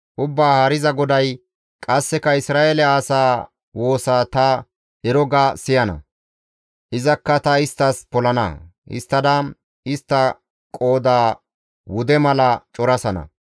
«Ubbaa Haariza GODAY, ‹Qasseka Isra7eele asaa woosa ta ero ga siyana; izakka ta isttas polana; histtada istta qooda wude mala corasana.